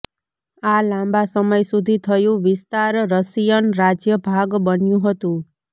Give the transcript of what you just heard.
આ લાંબા સમય સુધી થયું વિસ્તાર રશિયન રાજ્ય ભાગ બન્યું હતું